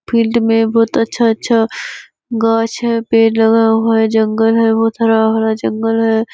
Field में बहुत अच्‍छा-अच्‍छा गाछ है पेड़ लगा हुआ है जंगल है बहुत हरा-भरा जंगल है।